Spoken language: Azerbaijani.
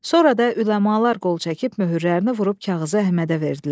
Sonra da üləmalar qol çəkib möhürlərini vurub kağızı Əhmədə verdilər.